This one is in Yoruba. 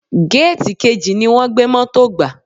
Géètì kejì ni wọ́n gbé Mọ́tò gbà.